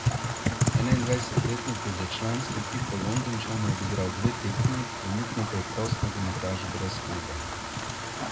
Enaindvajsetletnik je za člansko ekipo Londončanov odigral dve tekmi, trenutno pa je prost nogometaš brez kluba.